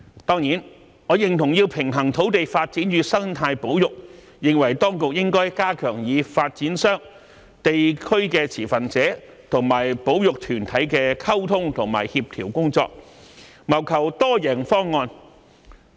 當然，我認同要平衡土地發展與生態保育，認為當局應該加強與發展商、地區持份者和保育團體的溝通和協調工作，謀求多贏方案。